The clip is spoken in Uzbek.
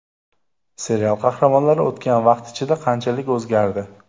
Serial qahramonlari o‘tgan vaqt ichida qanchalik o‘zgardi?